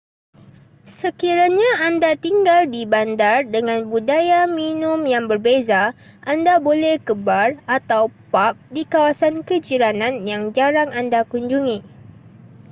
sekiranya anda tinggal di bandar dengan budaya minum yang berbeza anda boleh ke bar atau pub di kawasan kejiranan yang jarang anda kunjungi